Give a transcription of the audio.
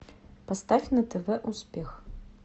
поставь на тв успех